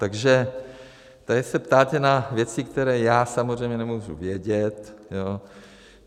Takže tady se ptáte na věci, které já samozřejmě nemůžu vědět.